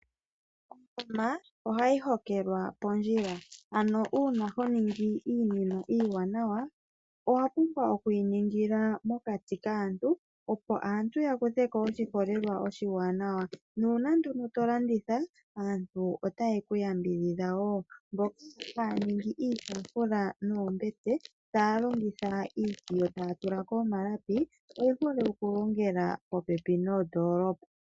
Ongoma ohayi hokelwa pondjila, ano uuna honingi iinima iiwanawa owapumbwa okuyi ningila mokati kaantu opo aantu yakutheko oshiholelwa oshiiwanawa, nuuna nduno to landitha aantu ota ye kuyambidhidha woo mboka haya ningi iitafula noombete taya kiinima taya tulako omalapi oyehole oku longela popepi noondoolopa